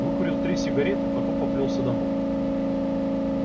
выкурил три сигареты потом поплёлся домой